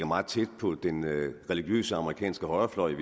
meget tæt på den religiøse amerikanske højrefløj i